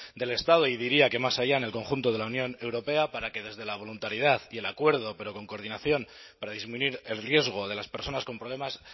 del estado y diría que más allá en el conjunto de la unión europea para que desde la voluntariedad y el acuerdo pero con coordinación para disminuir el riesgo de las personas con problemas